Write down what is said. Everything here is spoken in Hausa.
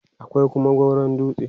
akwai Kuma gauron dutse